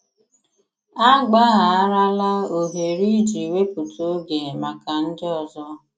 Àgbàghàràlà òhèrè ịjì wépụ̀tà ògè maka ndị ọzọ